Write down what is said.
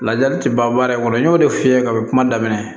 Lajali ti ban baara in kɔnɔ n y'o de f'i ye ka kuma daminɛ